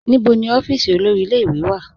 Níbọ̀ ni ọ̀fíísì olórí ìlẹ̀-ìwé wà?